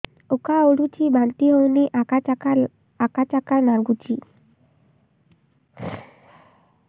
ଉକା ଉଠୁଚି ବାନ୍ତି ହଉନି ଆକାଚାକା ନାଗୁଚି